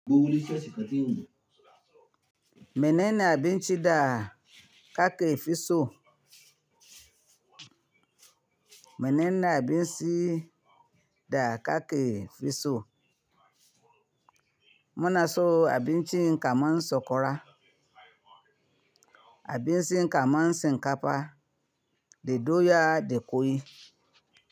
Gobe wuli ciyashi kaɗi yini. Menene abinci da ka ke fi so? Menene abinci da ka ke fi so? Muna so abinci kamar sakwara, abinci kamar shinkafa, da doya da ƙwai.